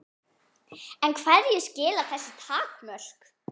En hverju skila þessu takmörk?